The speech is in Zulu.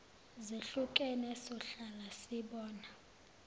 zehlukene sohlala sibona